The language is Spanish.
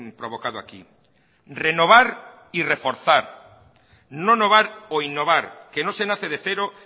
provocado aquí renovar y reforzar no novar o innovar que no se nace de cero